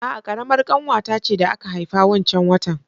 A'a, ƙaramar ƙanwata ce da aka haifa wancan watan